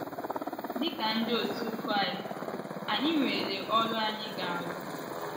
Dị ka ndị otú Kraịst, anyị nwere ọrụ anyị ga - arụ.